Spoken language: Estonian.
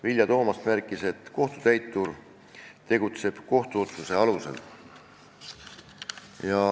Vilja Toomast märkis, et kohtutäitur tegutseb kohtuotsuse alusel.